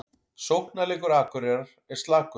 Sóknarleikur Akureyrar er slakur